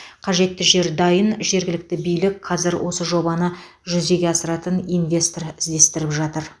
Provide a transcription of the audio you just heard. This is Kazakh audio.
қажетті жер дайын жергілікті билік қазір осы жобаны жүзеге асыратын инвестор іздестіріп жатыр